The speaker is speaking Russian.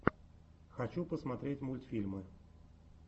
хочу посмотреть мультфильмы